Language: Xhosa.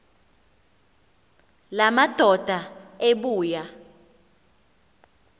la madoda ebuya